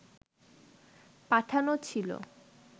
পাঠানো ছিল